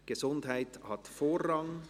«Gesundheit hat Vorrang».